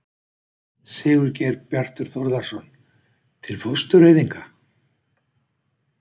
Sigurgeir Bjartur Þórðarson: Til fóstureyðinga?